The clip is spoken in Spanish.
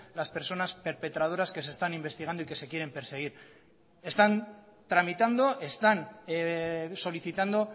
las personas perpetradoras que se están investigando y que se quieren perseguir están tramitando están solicitando